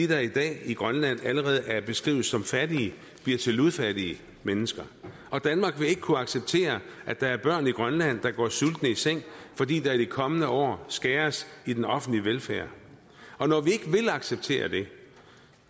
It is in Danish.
der i dag i grønland allerede beskrives som fattige bliver til ludfattige mennesker og danmark vil ikke kunne acceptere at der er børn i grønland der går sultne i seng fordi der i de kommende år skæres i den offentlige velfærd når vi ikke vil acceptere det